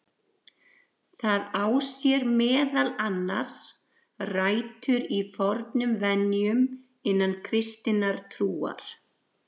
Það á sér meðal annars rætur í fornum venjum innan kristinnar trúar.